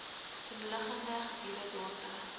omliggende gebiede dorpe